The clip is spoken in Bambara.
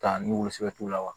Ka ni wulu sɛbɛ t'o la wa